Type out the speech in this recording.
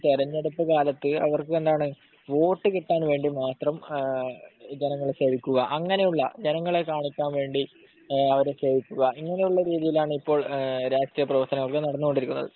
തെരഞ്ഞെടുപ്പ് കാലത്തു വോട്ട് കിട്ടാൻവേണ്ടി മാത്രം ജനങ്ങളെ സേവിക്കുക അങ്ങനെയുള്ള ജനങ്ങളെ കാണിക്കാൻവേണ്ടി അവരെ സേവിക്കുക ഇങ്ങനെയുള്ള രീതിയിലാണ് ഇപ്പോൾ രാഷ്ട്രീയ പ്രവർത്തനം നടന്നുകൊണ്ടിരിക്കുന്നത്